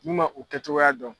N'u ma o kɛcogoya dɔn.